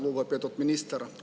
Lugupeetud minister!